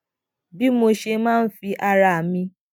bí mo ṣe máa ń fi ara mi